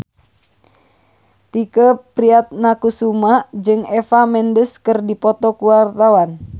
Tike Priatnakusuma jeung Eva Mendes keur dipoto ku wartawan